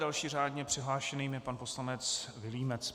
Dalším řádně přihlášeným je pan poslanec Vilímec.